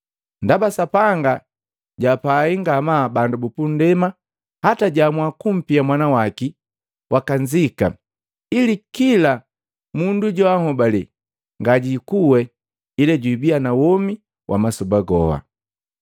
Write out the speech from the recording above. Ndaba Sapanga jaapai ngamaa bandu bupundema hata jaamua kumpia Mwana waki wakanzika, ili kila mundu joanhobaale ngajikuwe ila jubiya na womi wa masoba goha.